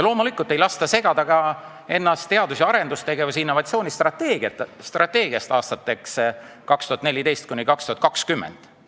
Loomulikult ei lasta end segada ka teadus- ja arendustegevuse ning innovatsiooni strateegiast aastateks 2014–2020.